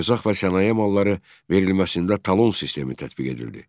Ərzaq və sənaye malları verilməsində talon sistemi tətbiq edildi.